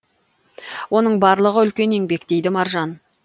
оның барлығы үлкен еңбек дейді маржан